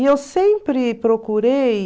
E eu sempre procurei...